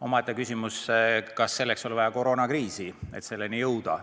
Omaette küsimus on, kas selleks oli vaja koroonakriisi, et selleni jõuda.